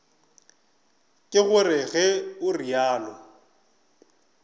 ke gore ge o realo